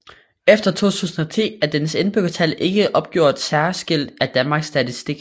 Efter 2010 er dens indbyggertal ikke opgjort særskilt af Danmark Statistik